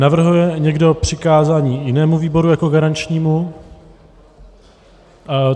Navrhuje někdo přikázání jinému výboru jako garančnímu?